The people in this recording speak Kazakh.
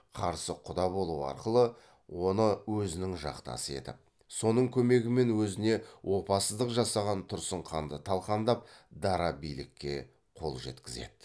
қарсы құда болу арқылы оны өзінің жақтасы етіп соның көмегімен өзіне опасыздық жасаған тұрсын ханды талқандап дара билікке қол жеткізеді